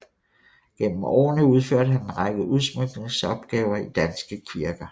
Gennem årene udførte han en række udsmykningsopgaver i danske kirker